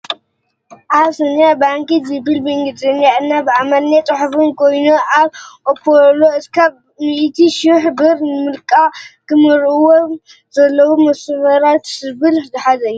ኣብስንያ ባንክ ዝብል ብእንግልዘኛ እና ብኣማርኛ ፅሑፍን ኮይኑ ካብ አፖሎ እስካብ ሚእቲ ሹሕ ብር ንምልቃሕ ክተመልእዎ ም ዘለኩም መስፈርትታት ዝብልን ዝሓዘ እዩ።